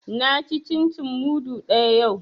Na ci cin cin mudu ɗaya yau